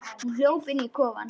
Hún hljóp inn í kofann.